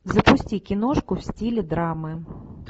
запусти киношку в стиле драмы